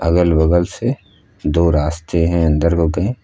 अगल बगल से दो रास्ते हैं अंदर को गये।